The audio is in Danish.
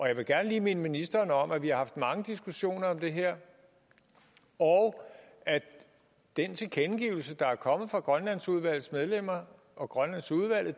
jeg vil gerne lige minde ministeren om at vi har haft mange diskussioner om det her og at den tilkendegivelse der er kommet fra grønlandsudvalgets medlemmer og grønlandsudvalget